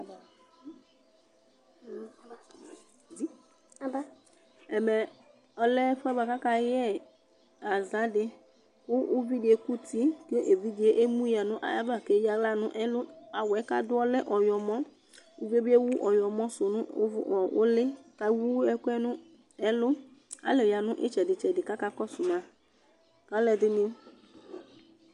ɛmɛ lɛ ɛfuedɩ kʊ akayɛ ɛwi dɩ kʊ uvi dɩ eku uti, kʊ evidze emu ya nʊ ayava kʊ eyǝ aɣla nʊ ɛlu, awu yɛ bua kʊ adʊyɛ ɔlɛ ɔwlɔmɔ, uvi yɛ bɩ ewu ɔwlɔmɔ su nu ʊli, kʊ ewu ɛkʊ yɛ nʊ ɛlu, alʊ ya nʊ itsɛdɩ itsɛdɩ kʊ akakɔsu ma